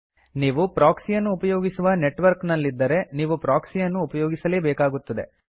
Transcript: ನೀವು ಪ್ರೊಕ್ಸಿ ಯನ್ನು ಉಪಯೋಗಿಸುವ ನೆಟ್ವರ್ಕ್ ನಲ್ಲಿದ್ದರೆ ನೀವು ಪ್ರೊಕ್ಸಿಯನ್ನು ಉಪಯೋಗಿಸಲೇಬೇಕಾಗುತ್ತದೆ